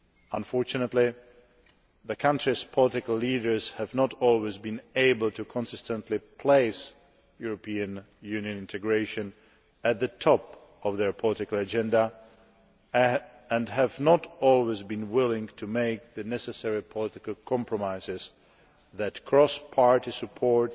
Unfortunately, the country's political leaders have not always been able to consistently place European Union integration at the top of their political agenda and have not always been willing to make the necessary political compromises that cross party support